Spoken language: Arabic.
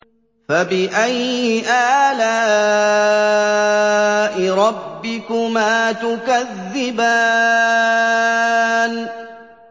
فَبِأَيِّ آلَاءِ رَبِّكُمَا تُكَذِّبَانِ